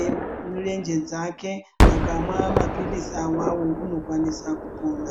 emirenje dzake akamwa maphirizi awawo unokwanisa kupora.